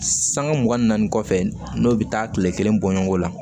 Sanŋa mugan ni naani kɔfɛ n'o bɛ taa kile kelen bɔ ɲɔgɔn na